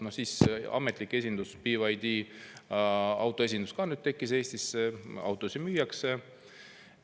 Nüüd tekkis Eestisse ka ametlik BYD esindus, autosid müüakse.